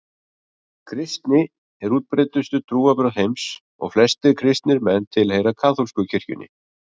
Kristni er útbreiddustu trúarbrögð heims og flestir kristnir menn tilheyra kaþólsku kirkjunni.